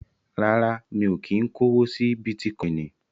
Rárá, mi ò kí ń kówó sí Bítíkọinì.